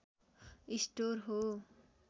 store हो